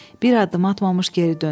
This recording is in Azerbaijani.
Bir addım atmamış geri döndü.